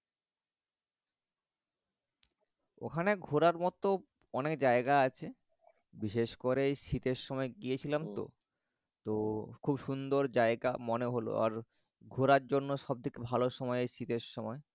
ওখানে ঘোরার মত অনেক জায়গা আছে, বিশেষ করে এই শীতের সময় গিয়েছিলাম তো তো খুব সুন্দর জায়গা মনে হল আর ঘোরার জন্য সবথেকে ভালো সময় এই শীতের সময়